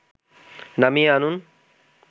নামিয়ে আনুন